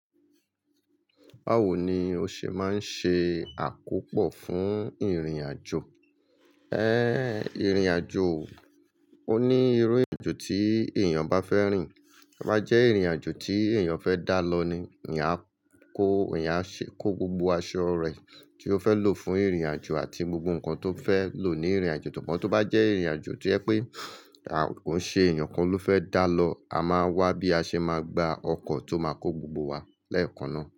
Báwo ni o ṣe máa ń ṣe àkópò fún ìrìn àjò? Ẹ̀, ìrìnàjò ò, ó ní irú irin ajo tí èèyàn bá fẹ́ rìn, tí ó bá jẹ́ ìrìnàjò tí èèyàn fẹ́ dá lọ ni èèyàn á kó, èèyàn á ṣe kó gbogbo aṣọ rẹ̀ tí ó fẹ́ lò fún ìrìnàjò àti gbogbo nǹkan tó fẹ́ lò ní ìrìnàjò, sugbon tí ó bá jẹ́ ìrìnàjò tí o je pé ko i se èèyàn kan ló fẹ́ dá lọ, a máa wá bí a ṣe máa gbà ọkọ̀ tó máa kó gbogbo wa lẹ́ẹ̀kan náà.